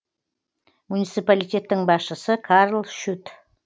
муниципалитеттің басшысы карл шют